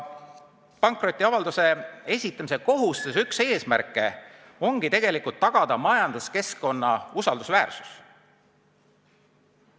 Pankrotiavalduse esitamise kohustuse üks eesmärke on tagada majanduskeskkonna usaldusväärsus.